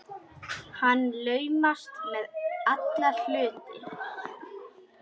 Hann laumast með alla hluti.